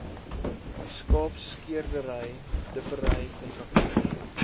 skaapskeerdery dippery kontrakteurs